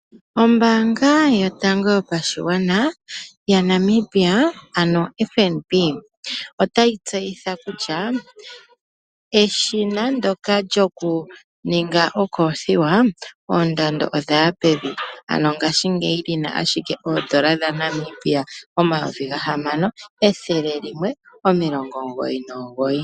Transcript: Ombaanga yotango yopashigwana yaNamibia ano oFNB, itayi tseyitha kutya eshina ndyoka lyokuninga ookofiwa, oondando odhaya pevi, ano ngaashingeyi lina ashike N$6199.